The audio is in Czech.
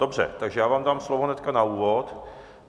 Dobře, takže já vám dám slovo hned na úvod.